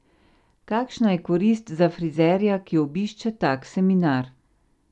Kakšna je korist za frizerja, ki obišče tak seminar?